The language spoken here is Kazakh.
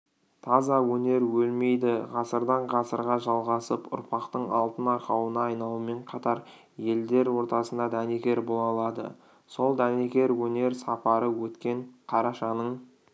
таза өнер өлмейді ғасырдан-ғасырға жалғасып ұрпақтың алтын арқауына айналумен қатар елдер ортасына дәнекер бола алады сол дәнекер өнер сапары өткен қарашаның